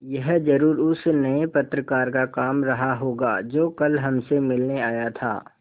यह ज़रूर उस नये पत्रकार का काम रहा होगा जो कल हमसे मिलने आया था